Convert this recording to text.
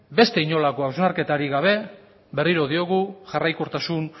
beste inolako hausnarketarik gabe berriro diogu jarraikortasun